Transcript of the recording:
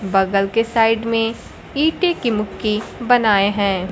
बगल के साइड में ईंटे की मुक्की बनाए हैं।